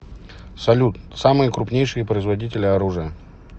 салют самые крупнейшие производители оружия